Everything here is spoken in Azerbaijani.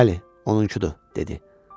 Bəli, onunkudur, dedi.